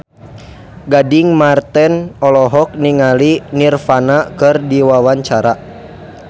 Gading Marten olohok ningali Nirvana keur diwawancara